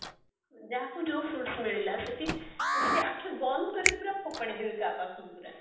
ଯାହାକୁ ଯୋଉ fruits ମିଳିଲା ସେଠି ସିଏ ଆଖି ବନ୍ଦ କରିକି ପୁରା ଫୋପାଡି ଦେବେ କାହା ପାଖକୁ ପୁରା